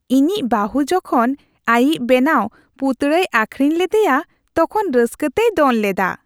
ᱤᱧᱤᱡ ᱵᱟᱹᱦᱩ ᱡᱚᱠᱷᱚᱱ ᱟᱹᱭᱤᱡ ᱵᱮᱱᱟᱣ ᱯᱩᱛᱲᱟᱹᱭ ᱟᱹᱠᱷᱨᱤᱧ ᱞᱮᱫᱮᱭᱟ ᱛᱚᱠᱷᱚᱱ ᱨᱟᱹᱥᱠᱟᱹᱛᱮᱭ ᱫᱚᱱ ᱞᱮᱫᱟ ᱾